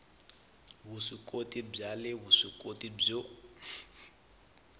vuswikoti bya le vuswikoti byo